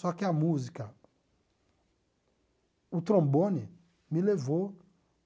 Só que a música, o trombone, me levou